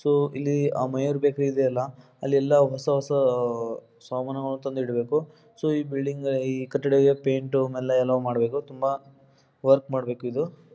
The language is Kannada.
ಸೊ ಇಲ್ಲಿ ಆ ಮಯೂರ್ ಬೇಕರಿ ಇದೆಯಲ್ಲ ಅಲ್ಲೆಲ್ಲ ಹೊಸ ಹೊಸ ಸಾಮನ್ಗಳು ತಂದು ಇಡಬೇಕು ಸೊ ಬಿಲ್ಡಿಂಗ್ ಗೆ ಕಟ್ಟಡಕ್ಕೆ ಪೈಂಟ್ ಎಲ್ಲ ಮಾಡಬೇಕು ತುಂಬ ವರ್ಕ್ ಮಾಕಬೇಕು ಇದು--